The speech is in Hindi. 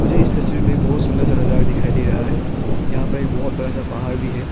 मुझे इस तस्वीर में बहुत एक सुंदर सा नजारा दिखाई दे रहा है यहां पर बहुत बड़ा सा पहाड़ भी है।